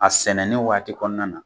A sɛnɛnen waati kɔnɔna na